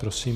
Prosím.